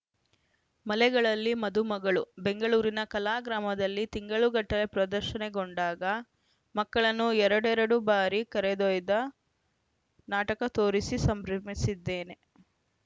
ಮಲೆಗಳಲ್ಲಿ ಮದುಮಗಳು ಬೆಂಗಳೂರಿನ ಕಲಾಗ್ರಾಮದಲ್ಲಿ ತಿಂಗಳುಗಟ್ಟಲೆ ಪ್ರದರ್ಶನಗೊಂಡಾಗ ಮಕ್ಕಳನ್ನು ಎರಡೆರಡು ಬಾರಿ ಕರೆದೊಯ್ದು ನಾಟಕ ತೋರಿಸಿ ಸಂಭ್ರಮಿಸಿದ್ದೇನೆ